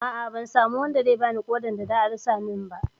A'a, ban samu wanda zai bani ƙodar da za a dasa min ba.